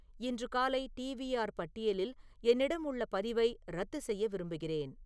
இன்று காலை டி.வி.ஆர் பட்டியலில் என்னிடம் உள்ள பதிவை ரத்து செய்ய விரும்புகிறேன்